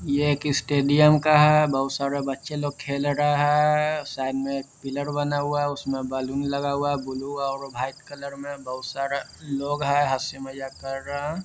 ये एक स्टडियम का है बहुत सारे बच्चे लोग खेल रहा है। साइड में एक पिलर बना हुआ है उसमे बैलन लगा हुआ है। ब्लू और वाइट कलर में बहुत सारे लोग है हसी मजाक कर रहा --